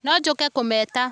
No njooke kũmeeta